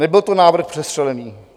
Nebyl to návrh přestřelený.